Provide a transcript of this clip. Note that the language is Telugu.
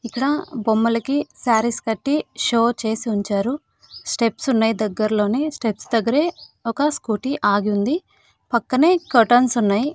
ఇక్కడ బొమ్మలకి సారీస్ కట్టి షో చేసి ఉంచారు స్టెప్స్ ఉన్నాయి దగ్గరలోనే స్టెప్స్ దగ్గరే ఒక స్కూటీ ఆగింది పక్కనే కర్టైన్స్ ఉన్నాయి.